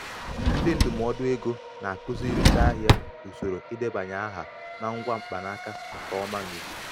ndị ndụmọdụ ego na-akụziri ndị ahịa usoro idebanye aha na ngwa mkpanaka nke ọma n'ikuku